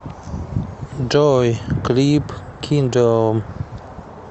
джой клип киндом